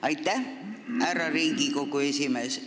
Aitäh, härra Riigikogu esimees!